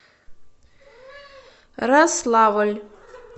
рославль